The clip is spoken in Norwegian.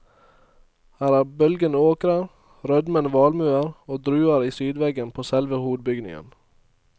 Her er bølgende åkrer, rødmende valmuer og druer i sydveggen på selve hovedbygningen.